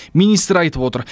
министр айтып отыр